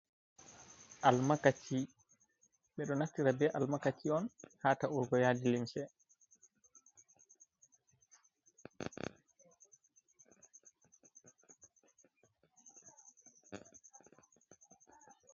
Almakaci. Ɓe ɗo naftira be almakaci on haa taurgo yadi lince.